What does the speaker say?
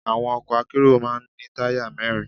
Àwọn ọkọ̀ akérò máa ń ní táyà mẹ́rin.